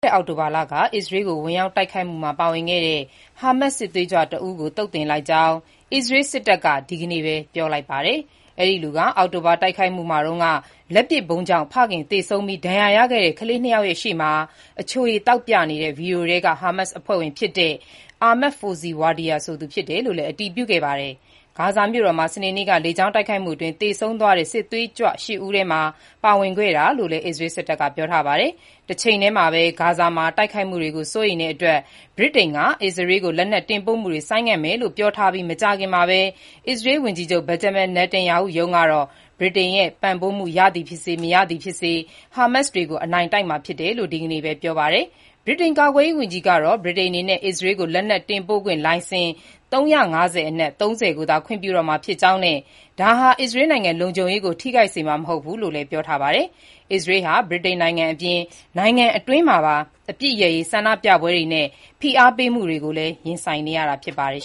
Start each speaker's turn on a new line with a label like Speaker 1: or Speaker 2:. Speaker 1: တဲ့ အောက်တိုဘာလက အစ္စရေးကို ဝင်ရောက်တိုက်ခိုက်မှုမှာပါဝင်ခဲ့တဲ့ ဟာမတ်စ် စစ်သွေးကြွ တဦးကို သုတ်သင်လိုက်ကြောင်း အစ္စရေးစစ်တပ်က ဒီနေ့ပဲ ပြောလိုက်ပါတယ်။ အောက်တိုဘာတိုက်ခိုက်မှုမှာတုန်းက လက်ပစ်ဗုံးကြောင့် ဖခင်သေဆုံးပြီး၊ ဒဏ်ရာရခဲ့တဲ့ ကလေး ၂ ယောက်ရှေ့မှာ အချိုရည်သောက်နေတဲ့ ဗွီဒီယိုထဲက ဟာမတ်စ်အဖွဲ့ဝင် Ahmed Fozi Wadia ဆိုသူ အစ္စရေးရဲ့ လေကြောင်းတိုက်ခိုက်မှုမှာ သေဆုံးခဲ့ကြောင်း အတည်ပြုခဲ့တာပါ။ ဂါဇာမြို့တော်မှာ စနေနေ့က လေကြောင်းတိုက်ခိုက်မှုအတွင်း သေဆုံးသွားတဲ့ စစ်သွေးကြွ ရှစ်ဦးထဲမှာ ပါဝင်ခဲ့တာလို့လည်း အစ္စရေးစစ်တပ်ကပြောပါတယ်။ တချိန်တည်းမှာပဲ ဂါဇာမှာ တိုက်ခိုက်မှုတွေကို စိုးရိမ်တဲ့အတွက် ဗြိတိန်က အစ္စရေးကို လက်နက်တင်ပို့မှုတွေကို ဆိုင်းငံ့မယ်လို့ ပြောပြီးမကြာခင်မှာပဲ၊ အစ္စရေး ဝန်ကြီးချုပ် Benjamin Netanyahu ရုံးကတော့ ဗြိတိန်ရဲ့ ပံ့ပိုးမှုရသည်ဖြစ်စေ၊ မရသည်ဖြစ်စေ ဟာမတ်စ်တွေကို အနိုင်တိုက်မှာဖြစ်တယ်လို့ ဒီနေ့ပဲ ပြောပါတယ်။ ဗြိတိန်ကာကွယ်ရေးဝန်ကြီး John Healey က ဗြိတိန် အနေနဲ့ အစ္စရေးကို လက်နက် တင်ဖို့ခွင့်လိုင်စင် ၃၅၀ အနက် ၃၀ ကိုသာ ခွင့်ပြုတော့မှာဖြစ်ကြောင်းနဲ့ ဒါဟာ အစ္စရေးနိုင်ငံ လုံခြုံရေးကို ထိခိုက်စေမှာ မဟုတ်ဘူးလို့ ပြောထားတာပါ။ အစ္စရေးဟာ ဗြိတိန်အပြင် နိုင်ငံတွင်းမှာပါ အပစ်ရပ်ရေး ဆန္ဒပြပွဲတွေနဲ့ ဖိအားပေးမှုတွေကိုလည်း ရင်ဆိုင်နေရတာဖြစ်ပါတယ်